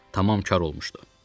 Tamam kar olmuşdu.